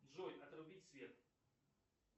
джой отрубить свет